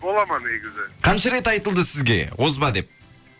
бола ма негізі қанша рет айтылды сізге озба деп